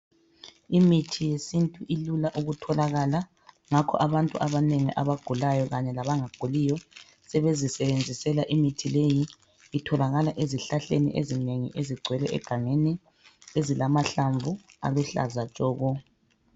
Imithi yesintu ilula ukutholakala, ngakho abantu abanengi abagulayo kanye labangaguliyo sebezisebenzisela imithi leyi. Itholakala ezihlahleni ezinengi ezigcwele egangeni, ezilamahlamvu aluhlaza tshoko.